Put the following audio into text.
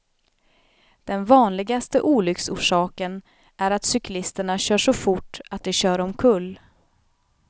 Den vanligaste olycksorsaken är att cyklisterna kör så fort att de kör omkull.